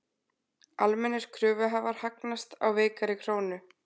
Almennir kröfuhafar hagnast á veikari krónu